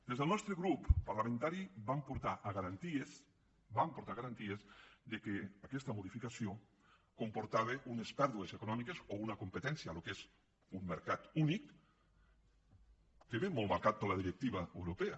des del nostre grup parlamentari vam portar a garanties vam portar a garanties que aquesta modificació comportava unes pèrdues econòmiques o una competència el que és un mercat únic que ve molt marcat per la directiva europea